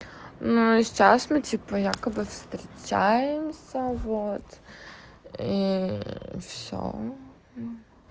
ну и сейчас мы типа якобы встречаемся вот и всё